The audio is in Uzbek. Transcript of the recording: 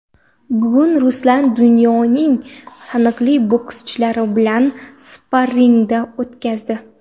Bugun Ruslan dunyoning taniqli bokschilari bilan sparringlar o‘tkazdi.